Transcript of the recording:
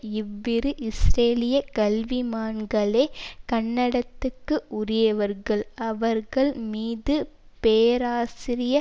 இவ்விரு இஸ்ரேலிய கல்விமான்களே கண்டனத்துக்கு உரியவர்கள் அவர்கள் மீது பேராசிரியர்